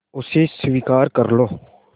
उसे स्वीकार कर लो